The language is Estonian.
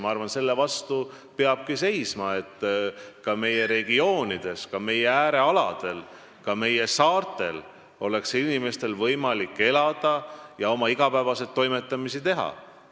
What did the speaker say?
Ma arvan, et selle vastu peab seisma, et ka meie regioonides, meie äärealadel ja meie saartel oleks inimestel võimalik elada, oma igapäevaseid toimetamisi teha.